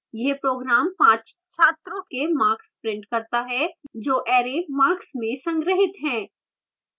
यह program 5 छात्रों के marks prints करता है जो array marks में संग्रहीत हैं